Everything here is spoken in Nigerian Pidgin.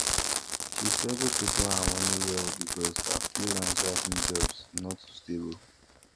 she struggle to plan her money well because her freelance writing jobs no too stable